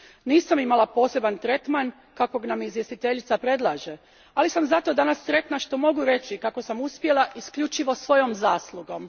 Nisam imala poseban tretman kakav nam izvjestiteljica predlaže, ali sam zato danas sretna što mogu reći kako sam uspjela isključivo svojom zaslugom.